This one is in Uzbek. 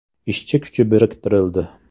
Ishchi kuchi biriktirildi.